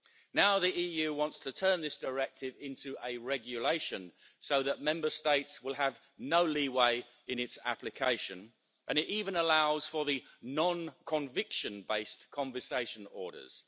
Now the EU wants to turn this directive into a regulation so that Member States will have no leeway in its application, and it even allows for non-conviction-based confiscation orders.